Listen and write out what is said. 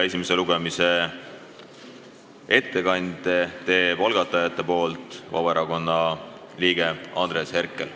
Esimesel lugemisel teeb algatajate nimel ettekande Vabaerakonna liige Andres Herkel.